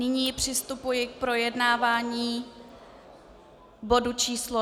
Nyní přistupuji k projednávání bodu číslo